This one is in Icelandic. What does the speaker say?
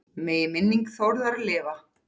Megi minning Þórðar lifa.